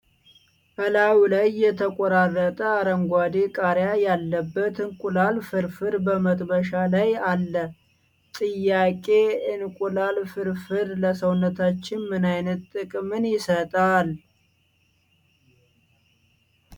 እላዩ ላይ የተቆራረጠ አረንጓዴ ቃርያ ያለበት እንቁላል ፍርፍር በመጥበሻ ላይ አለ ፤ ጥያቄ እንቁላል ፍርፍር ለሰውነታችን ምን አይነት ጥቅምን ይሰጣል?